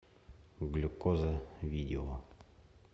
глюкоза видео